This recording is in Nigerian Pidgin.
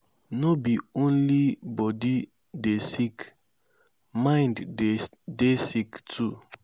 no be only body de sick mind de dey sick too